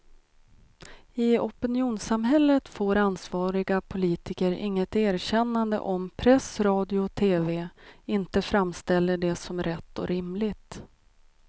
I opinionssamhället får ansvariga politiker inget erkännande om press, radio och tv inte framställer det som rätt och rimligt.